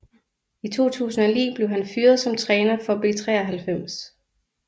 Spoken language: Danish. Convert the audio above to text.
I 2009 blev han fyret som træner for B93